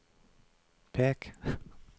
pek